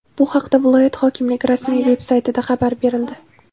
Bu haqda viloyat hokimligi rasmiy veb-saytida xabar berildi .